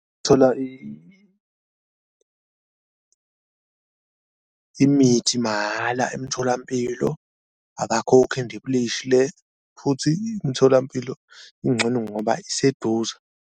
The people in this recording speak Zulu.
Thola imithi mahhala emtholampilo abakhokhi indibilishi le futhi imitholampilo incono ngoba iseduze.